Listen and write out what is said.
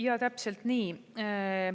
Jaa, täpselt nii.